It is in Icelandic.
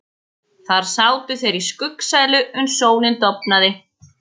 Þar sátu þeir í skuggsælu uns sólin dofnaði.